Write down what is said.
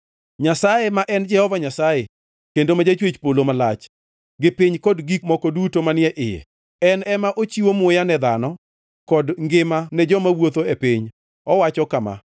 Nyasaye ma en Jehova Nyasaye, kendo ma Jachwech polo malach, gi piny kod gik moko duto manie iye. En ema ochiwo muya ne dhano kod ngima ne joma wuotho e piny. Owacho kama: